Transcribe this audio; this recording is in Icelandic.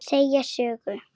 Segja sögur.